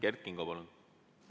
Kert Kingo, palun!